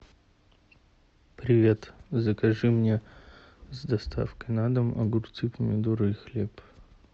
привет закажи мне с доставкой на дом огурцы помидоры и хлеб